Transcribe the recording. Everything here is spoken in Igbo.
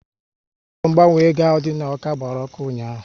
Ụlọ ngbanwe ego ahụ dị n'Awka gbara ọkụ ụnyaahụ